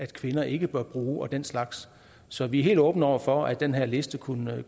kvinder ikke bør bruge og den slags så vi er helt åbne over for at den her liste kunne